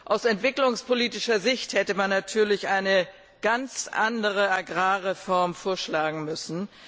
Aus entwicklungspolitischer Sicht hätte man natürlich eine ganz andere Agrarreform vorschlagen müssen.